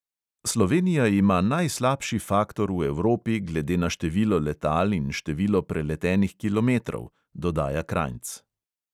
"Slovenija ima najslabši faktor v evropi glede na število letal in število preletenih kilometrov," dodaja krajnc.